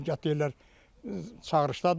nə bilim deyirlər çağırışdadır.